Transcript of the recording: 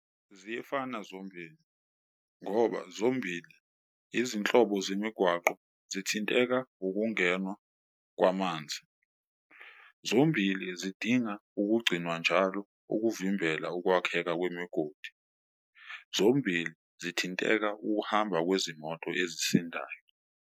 Ziyefana zombili ngoba zombili izinhlobo zemigwaqo zithinteka ngokungenwa kwamanzi, zombili zidinga ukugcinwa njalo ukuvimbela ukwakheka kwemigodi. Zombili zithinteka ukuhamba kwezimoto ezisindayo.